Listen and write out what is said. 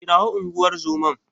Kirawo unguwar zoman.